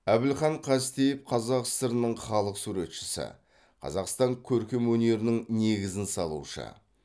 әбілхан қастеев қазақ сср нің халық суретшісі қазақстан көркемөнерінің негізін салушы